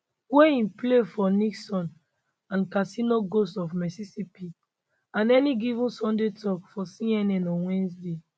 wey im play for nixon and casino ghosts of mississippi and any given sunday tok for cnn on wednesday